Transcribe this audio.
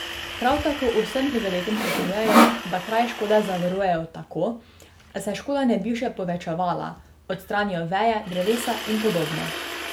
Prav tako vsem prizadetim svetujejo, da kraj škode zavarujejo tako, da se škoda ne bi še povečevala, odstranijo veje, drevesa in podobno.